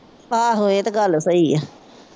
ਆਹੋ ਇਹ ਤਾਂ ਗੱਲ ਸਹੀ ਆ।